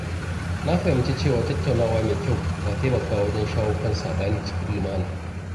Na fahimci cewa tattaunawa mai kyau na taimakawa wajen shawo kan saɓani cikin lumana.